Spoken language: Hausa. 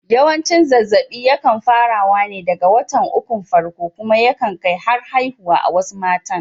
Yawanci zazzaɓi ya kan fara wa ne daga watan ukun farko kuma ya kan kai har haihuwa a wasu matan